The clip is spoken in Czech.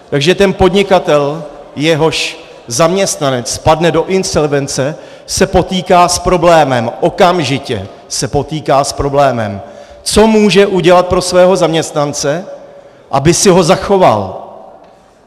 Takže ten podnikatel, jehož zaměstnanec spadne do insolvence, se potýká s problémem, okamžitě se potýká s problémem, co může udělat pro svého zaměstnance, aby si ho zachoval.